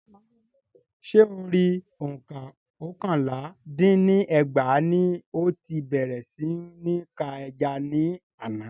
Ṣé Orí òǹkà oókànlá dín ní ẹgbàá ní o ti bèrè sí ní ka ẹja ní àna